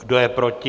Kdo je proti?